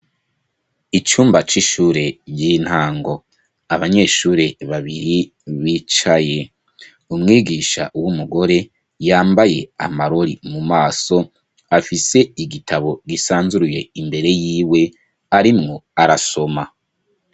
Icumba c'ishure ry'intango, Abanyeshure babiri bicaye, Umwigisha w'Umugore yambaye Amarori mu maso, afise Igitabo gisanzuruye imbere y'iwe, arimwo arasoma.